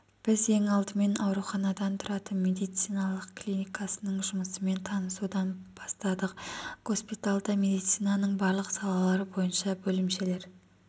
біз ең алдымен ауруханадан тұратын медициналық клиникасының жұмысымен танысудан бастадық госпитальда медицинаның барлық салалары бойынша бөлімшелер